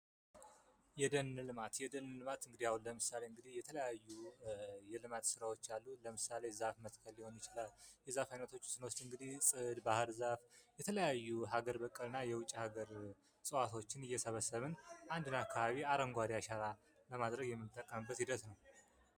የደን ልማት የደን ልማት ለምሳሌ እንግዲህ የተለያዩ የልማት ስራዎች አሉ፤ ለምሳሌ ዛፍ መትከል ሊሆን ይችላል። የዛፍ አይነቶች ውስጥ እንግዲህ ፅድ፣ ባህርዛፍ፣ የተለያዩ ሀገር በቀልና የውጭ ሃገር እፅዋቶችን እየሰበሰብን አንድን አካባቢ አረንጓዴ አሻራ ለማድረግ የምንጠቀምበት ሂደት ነው።